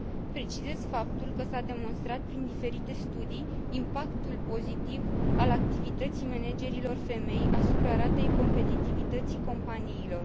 Precizez faptul că s a demonstrat prin diferite studii impactul pozitiv al activității managerilor femei asupra ratei competitivității companiilor.